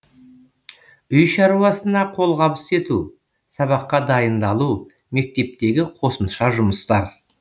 үй шаруасына қолғабыс ету сабаққа дайындалу мектептегі қосымша жұмыстар